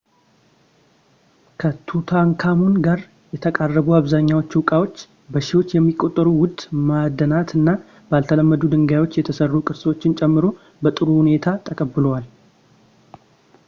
ከቱታንካሙን ጋር የተቀበሩ አብዛኛዎቹ ዕቃዎች በሺዎች የሚቆጠሩ ውድ ማዕድናት እና ባልተለመዱ ድንጋዮች የተሰሩ ቅርሶችን ጨምሮ በጥሩ ሁኔታ ተጠብቀዋል